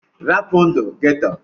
Rapụ ndụ ghetto!!